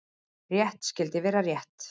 Rétt skyldi vera rétt.